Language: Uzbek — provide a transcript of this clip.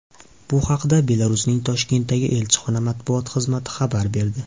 Bu haqda Belarusning Toshkentdagi elchixona matbuot xizmati xabar berdi .